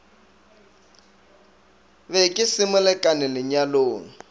be ke se molekane lenyalong